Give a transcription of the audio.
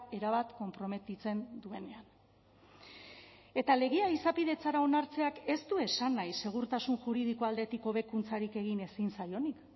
erabat konprometitzen duenean eta legea izapidetzara onartzeak ez du esan nahi segurtasun juridiko aldetik hobekuntzarik egin ezin zaionik